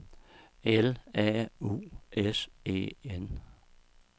L A U S E N